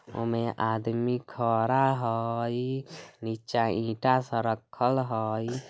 ओय में आदमी खड़ा हई नीचा ईटा सब रखल हई।